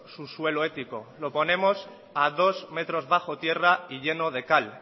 su suelo ético lo ponemos a dos metros bajo tierra y lleno de cal